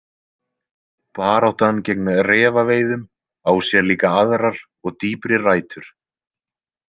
Baráttan gegn refaveiðum á sér líka aðrar og dýpri rætur.